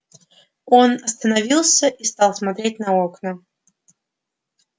он остановился и стал смотреть на окна